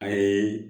A ye